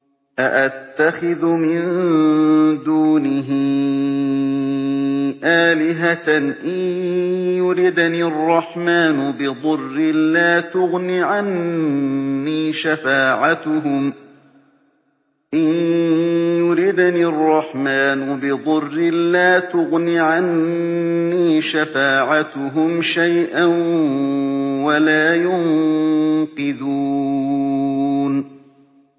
أَأَتَّخِذُ مِن دُونِهِ آلِهَةً إِن يُرِدْنِ الرَّحْمَٰنُ بِضُرٍّ لَّا تُغْنِ عَنِّي شَفَاعَتُهُمْ شَيْئًا وَلَا يُنقِذُونِ